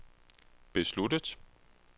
besluttet